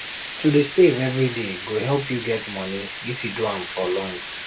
to dey save every day go help you get money if you do am for long